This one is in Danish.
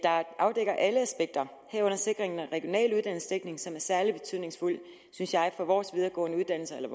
afdækker alle aspekter herunder en sikring af regional uddannelsesdækning som er særlig betydningsfuld synes jeg for vores videregående uddannelser eller